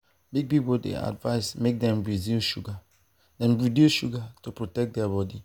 big people dey advice make dem reduce sugar dem reduce sugar to protect their body.